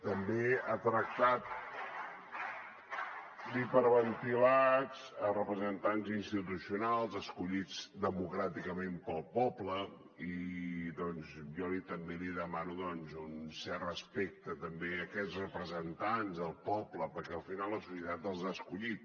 també ha tractat d’hiperventilats representants institucionals escollits democràticament pel poble i doncs jo també li demano un cert respecte també a aquests representants del poble perquè al final la societat els ha escollit